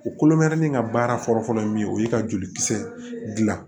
U kolomɛrɛnin in ka baara fɔlɔfɔlɔ ye min ye o ye ka jolikisɛ dilan